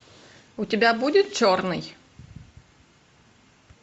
у тебя будет черный